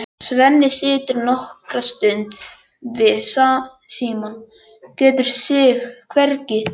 Svenni situr nokkra stund við símann, getur sig hvergi hrært.